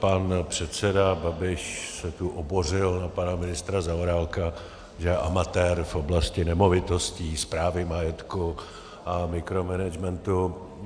Pan předseda Babiš se tu obořil na pana ministra Zaorálka, že je amatér v oblasti nemovitostí, správy majetku a mikromanagementu.